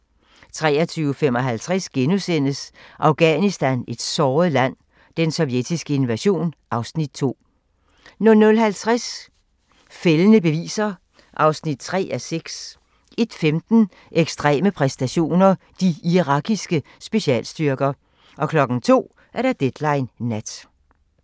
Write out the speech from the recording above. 23:55: Afghanistan - et såret land: Den sovjetiske invasion (Afs. 2)* 00:50: Fældende beviser (3:6) 01:15: Ekstreme præstationer: De irakiske specialstyrker 02:00: Deadline Nat